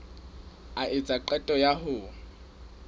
a etsa qeto ya ho